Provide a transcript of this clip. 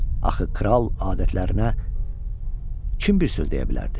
Axı kral adətlərinə kim bir söz deyə bilərdi?